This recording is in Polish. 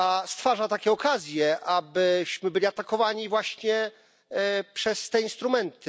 stwarza takie okazje, abyśmy byli atakowani właśnie przez te instrumenty.